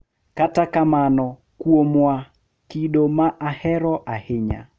Kata kamano, kuomwa, kido ma ahero ahinya